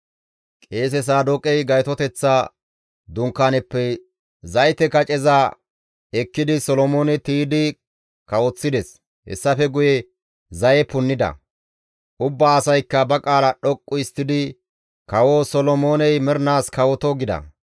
Qeese Saadooqey Gaytoteththa Dunkaaneppe zayte kaceza ekkidi Solomoone tiydi kawoththides; hessafe guye zaye punnida; ubba asaykka ba qaala dhoqqu histtidi, «Kawo Solomooney mernaas kawoto!» gida.